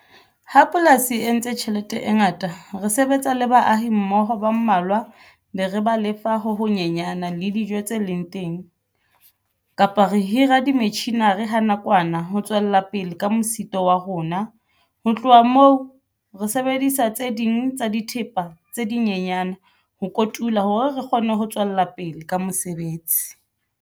Ha polasi e entse tjhelete e ngata re sebetsa le baahi mmoho ba mmalwa be re ba lefa ho honyenyana le dijo tse leng teng kapa re hira di metjhini-re ha nakwana nna ho tswella pele ka mosito wa rona. Ho tloha moo re sebedisa tse ding tsa dithepa tse dinyenyane ho kotula hore re kgone ho tswella pele ka mosebetsi.